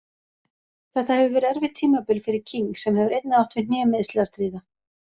Þetta hefur verið erfitt tímabil fyrir King sem hefur einnig átt við hnémeiðsli að stríða.